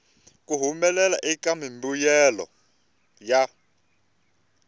ku humelela eka mimbuyelo ya